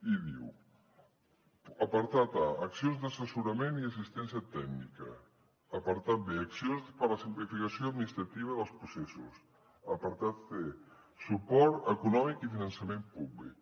i diu apartat a accions d’assessorament i assistència tècnica apartat b accions per a la simplificació administrativa dels processos apartat c suport econòmic i finançament públic